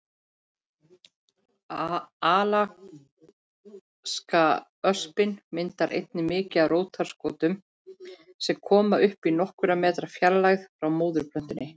Alaskaöspin myndar einnig mikið af rótarskotum sem koma upp í nokkurra metra fjarlægð frá móðurplöntunni.